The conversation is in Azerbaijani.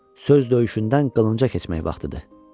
Söz döyüşündən qılınc döyüşünə keçmək vaxtıdır.